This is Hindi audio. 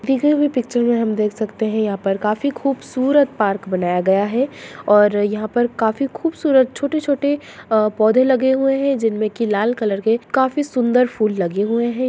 जैसा की पिक्चर में हम देख सकते हैयहां पर काफी खूबसूरत पार्क बनाया गया है और यहां पर काफी खूबसूरत छोटे-छोटे पौधे लगे हुए है जिनमे की लाल कलर के काफी सुंदर फूल लगे हुए है ।